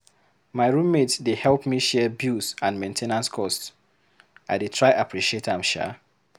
My roommate dey help me share bills and main ten ance cost. I dey try appreciate am sha.